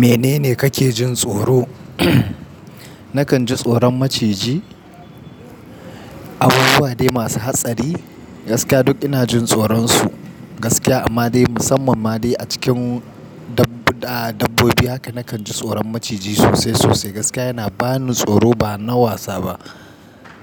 Menene kake jin tsoro? Nakan ji tsoron maciji, abubuwa dai masu hatsari. Gaskiya duk ina jin tsoron su. Gaskiya amma dai musamman ma dai a cikin dabb-dabbobi haka nakan ji tsoron maciji sosai sosai. Gaskiya yana bani tsoro ba na wasa ba.